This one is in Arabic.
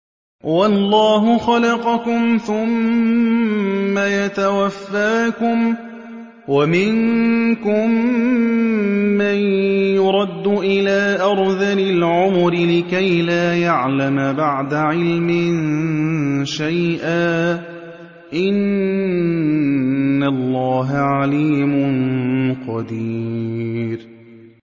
وَاللَّهُ خَلَقَكُمْ ثُمَّ يَتَوَفَّاكُمْ ۚ وَمِنكُم مَّن يُرَدُّ إِلَىٰ أَرْذَلِ الْعُمُرِ لِكَيْ لَا يَعْلَمَ بَعْدَ عِلْمٍ شَيْئًا ۚ إِنَّ اللَّهَ عَلِيمٌ قَدِيرٌ